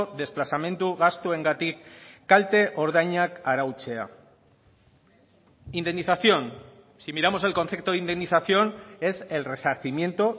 desplazamendu gastuengatik kalte ordainak arautzea indemnización si miramos el concepto de indemnización es el resarcimiento